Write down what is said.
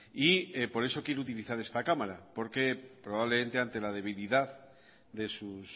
y por eso quiero utilizar esta cámara porque probablemente ante la debilidad de sus